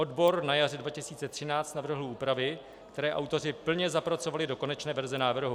Odbor na jaře 2013 navrhl úpravy, které autoři plně zapracovali do konečné verze návrhu.